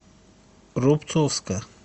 рубцовска